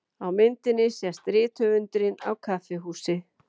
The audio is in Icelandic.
Á myndinni sést rithöfundurinn á kaffihúsi.